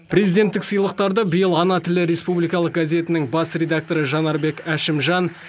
президенттік сыйлықтарды биыл ана тілі республикалық газетінің бас редакторы жанарбек әшімжан